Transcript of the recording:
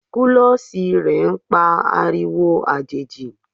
kulosí rẹ n pa ariwo ajejí